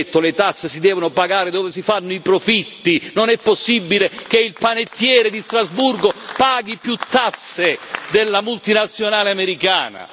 Lei ha detto le tasse si devono pagare dove si fanno i profitti, non è possibile che il panettiere di Strasburgo paghi più tasse della multinazionale americana!